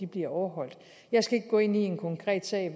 bliver overholdt jeg skal ikke gå ind i en konkret sag